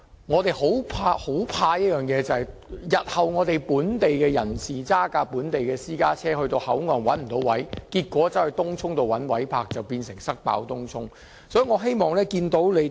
我們擔心，當日後本地人士駕駛本地私家車到口岸但卻沒有泊車位時，他們便須前往東涌尋找泊車位，結果"塞爆"東涌。